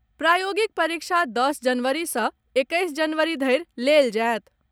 प्रायोगिक परीक्षा दस जनवरी सॅ एक्कैस जनवरी धरि लेल जाएत।